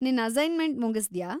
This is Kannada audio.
ನಿನ್‌ ಅಸೈನ್‍ಮೆಂಟ್‌ ಮುಗಿಸ್ದಾ?